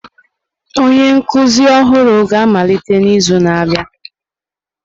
Onye nkuzi ọhụrụ ga-amalite n'izu na-abịa.